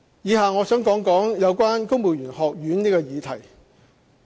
以下我想談談有關公務員學院這個議題。